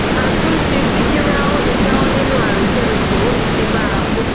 àtúntí ṣíkíra ò lè jáwọ nínú àrékérekè ó ti di bárakú